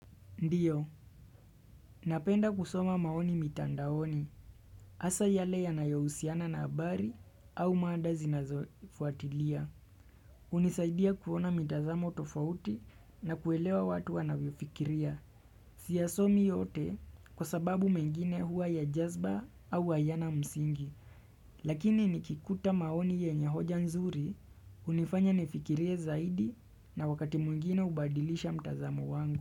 Ndio, napenda kusoma maoni mitandaoni, hasa yale yanayohusiana na habari au mada zinazofuatilia. Unisaidia kuona mitazamo tofauti na kuelewa watu wanavyofikiria. Siiasomi yote kwa sababu mengine huwa ya jazba au hayana msingi. Lakini nikikuta maoni yenye hoja nzuri, unifanya nifikiria zaidi na wakati mwingina ubadilisha mtazamo wangu.